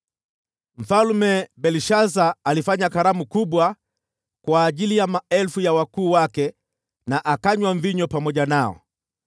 Mfalme Belshaza alifanya karamu kubwa kwa ajili ya maelfu ya wakuu wake na akanywa mvinyo pamoja nao.